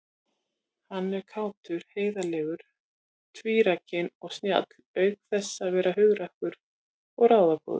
Hann er kátur, heiðarlegur, trúrækinn og snjall auk þess að vera hugrakkur og ráðagóður.